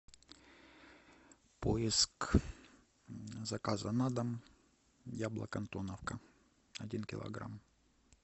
поиск заказа на дом яблок антоновка один килограмм